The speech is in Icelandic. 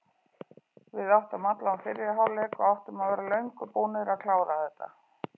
Við áttum allan fyrri hálfleik og áttum að vera löngu búnir að klára þetta.